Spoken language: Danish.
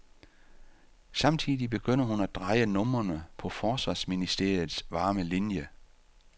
Samtidig begynder hun at dreje numrene på forsvarsministeriets varme linie.